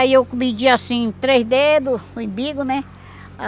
Aí eu pedia assim, três dedos, o imbigo, né?